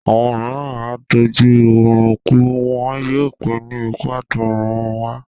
Àwọn mìíràn á tó jú ọrùn kú, wọn yóò pé ní ikú àtọ̀run wá